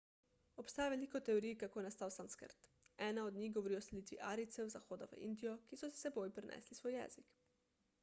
obstaja veliko teorij kako je nastal sanskrt ena od njih govori o selitvi arijcev z zahoda v indijo ki so s seboj prinesli svoj jezik